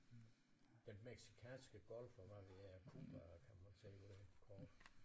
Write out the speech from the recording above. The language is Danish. Den Mexicanske Golf og hvad ved jeg Cuba kan man også se på det her kort